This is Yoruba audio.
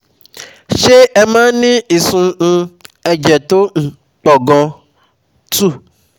Ṣé ẹ máa ń ní ìsun um ẹ̀jẹ̀ tó um pọ̀ gan? two